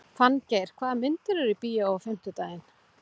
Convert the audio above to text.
Fanngeir, hvaða myndir eru í bíó á fimmtudaginn?